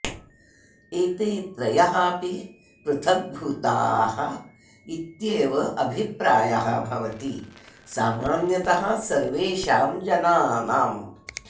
एते त्रयः अपि पृथक्भूताः इत्येव अभिप्रायः भवति सामान्यतः सर्वेषाम् जनानाम्